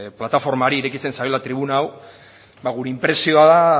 plataformari irekitzen zaiola tribuna hau gure inpresioa da